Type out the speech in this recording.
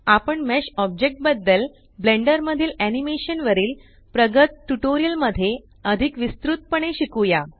आपण mesh object बद्दल Blender मधील आनिमेशन वरील प्रगत ट्यूटोरियल मध्ये अधिक विस्तृत पणे शिकुया